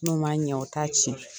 N'o man ɲɛ o t'a tiɲɛ.